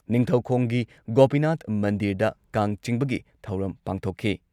ꯅꯤꯡꯊꯧꯈꯣꯡꯒꯤ ꯒꯣꯄꯤꯅꯥꯊ ꯃꯟꯗꯤꯔꯗ ꯀꯥꯡ ꯆꯤꯡꯕꯒꯤ ꯊꯧꯔꯝ ꯄꯥꯡꯊꯣꯛꯈꯤ ꯫